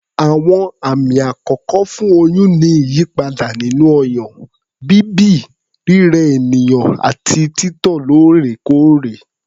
Àwọn àmì àkọ́kọ́ fún oyún ni ìyípadà nínú ọyàn, bíbì, rírẹ ènìyàn àti títọ̀ lóòrèkóòrè